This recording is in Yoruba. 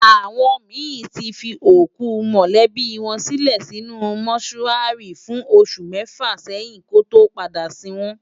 Awòn mi ti fi ókú mòlèbi wòn silè sinú mòṣúári fún óṣù mèfá sèyin kòtó pádá sin wòn